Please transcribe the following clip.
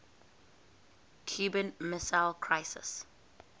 cuban missile crisis